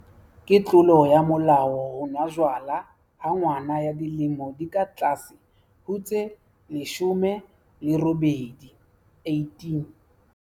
Ke tlolo ya molao ho nwa jwala ha ngwana ya dilemo di ka tlase ho tse 18.